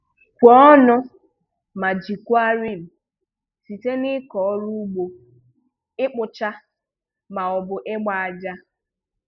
Kwuonụ ma jikwaa rim site n'ịkọ ọrụ ugbo, ịkpụcha, maọbụ ịgba aja.